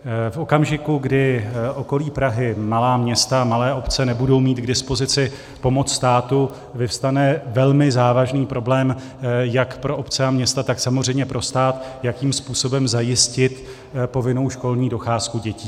V okamžiku, kdy okolí Prahy, malá města, malé obce nebudou mít k dispozici pomoc státu, vyvstane velmi závažný problém jak pro obce a města, tak samozřejmě pro stát, jakým způsobem zajistit povinnou školní docházku dětí.